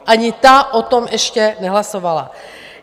Ani ta o tom ještě nehlasovala.